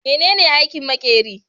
Menene aikin makerin?